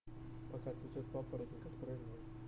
пока цветет папоротник открой мне